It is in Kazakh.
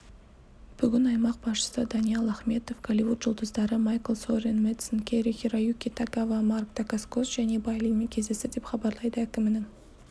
бүгін аймақ басшысы даниал ахметов голливуд жұлдыздары майкл сорен мэдсен кэри-хироюки тагава марк дакаскос және бай линмен кездесті деп хабарлайды әкімінің